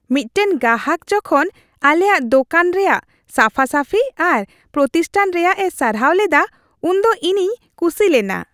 ᱢᱤᱫᱴᱟᱝ ᱜᱟᱦᱟᱠ ᱡᱚᱠᱷᱚᱱ ᱟᱞᱮᱭᱟᱜ ᱫᱳᱠᱟᱱ ᱨᱮᱭᱟᱜ ᱥᱟᱯᱷᱟᱼᱥᱟᱯᱷᱤ ᱟᱨ ᱯᱨᱚᱛᱤᱥᱴᱷᱟᱱ ᱨᱮᱭᱟᱜ ᱮ ᱥᱟᱨᱦᱟᱣ ᱞᱮᱫᱟ ᱩᱱᱫᱚ ᱤᱧᱤᱧ ᱠᱩᱥᱤ ᱞᱮᱱᱟ ᱾